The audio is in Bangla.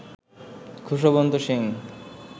খুশবন্ত সিং